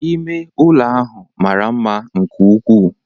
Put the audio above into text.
Ime ụlọ ahụ mara mma nke ukwuu